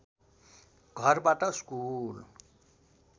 घरबाट स्कुल